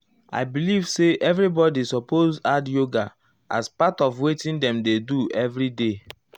i believe say everybodi supose add yoga as part of wetin dem dey do everyday.